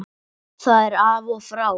Það er af og frá.